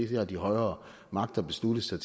det har de højere magter besluttet sig